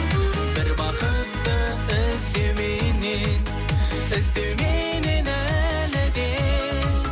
бір бақытты іздеуменен іздеуменен әлі де